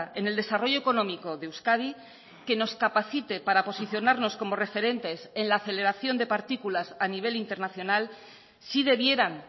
en el desarrollo económico de euskadi que nos capacite para posicionarnos como referentes en la aceleración de partículas a nivel internacional si debieran